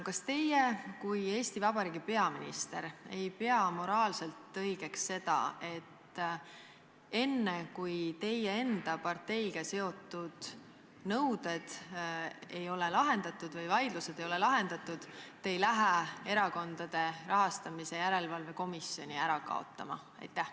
Kas teie kui Eesti Vabariigi peaminister ei pea moraalselt õigeks seda, et enne, kui teie enda parteiga seotud nõuded või vaidlused ei ole lahendatud, te ei hakka Erakondade Rahastamise Järelevalve Komisjoni ära kaotama?